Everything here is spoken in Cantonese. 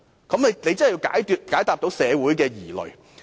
政府真的是需要解答社會疑慮。